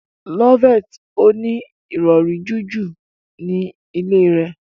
Loveth o ní Ìrọ̀rí jiju ní ilè rẹ.